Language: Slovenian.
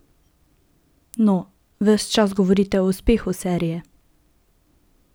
Naj naredijo rentgen.